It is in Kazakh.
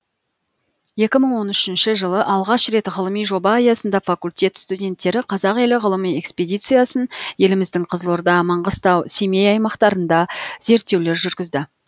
екі мың он үшінші жылы алғаш рет ғылыми жоба аясында факультет студенттері қазақ елі ғылыми экспедициясын еліміздің қызылорда маңғыстау семей аймақтарында зерттеулер жүргізді